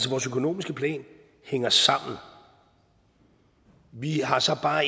vores økonomiske plan hænger sammen vi har så bare